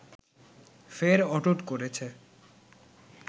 ফের অটুট করেছে